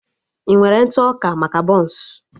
I nwere ntụ ọka maka bọns?